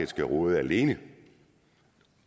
skal råde alene